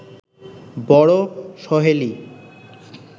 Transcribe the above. বড় সহেলি